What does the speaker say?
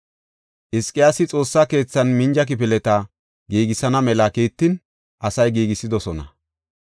Hizqiyaasi Xoossa keethan minja kifileta giigisana mela kiittin asay giigisidosona.